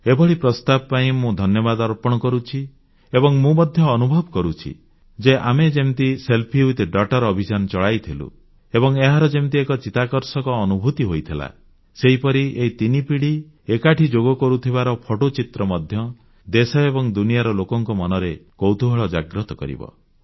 ଏହି ପ୍ରସ୍ତାବ ପାଇଁ ମୁଁ ଧନ୍ୟବାଦ ଅର୍ପଣ କରୁଛି ଏବଂ ମୁଁ ମଧ୍ୟ ଅନୁଭବ କରୁଛି ଯେ ଆମେ ଯେମିତି ସେଲଫି ୱିଥ୍ ଡାଉଟର ଅଭିଯାନ ଚଳାଇଥିଲୁ ଏବଂ ଏହାର ଯେମିତି ଏକ ଚିତାକର୍ଷକ ଅନୁଭୂତି ହୋଇଥିଲା ସେହିପରି ଏହି ତିନି ପିଢ଼ି ଏକାଠି ଯୋଗ କରୁଥିବାର ଫଟୋଚିତ୍ର ମଧ୍ୟ ଦେଶ ଏବଂ ଦୁନିଆର ଲୋକଙ୍କ ମନରେ କୌତୁହଳ ଜାଗ୍ରତ କରିବ